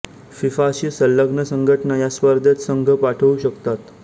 फिफाशी संलग्न संघटना या स्पर्धेत संघ पाठवू शकतात